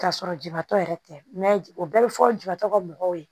K'a sɔrɔ jibatɔ yɛrɛ tɛ o bɛɛ bɛ fɔ jibatɔ ka mɔgɔw ye